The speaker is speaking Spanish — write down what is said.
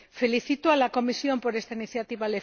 Felicito a la Comisión por esta iniciativa.